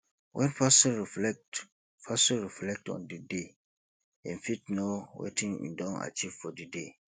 when person reflect person reflect on di day im fit know wetin im don achieve for di day